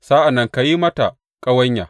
Sa’an nan ka yi mata ƙawanya.